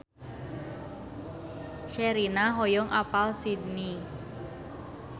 Sherina hoyong apal Sydney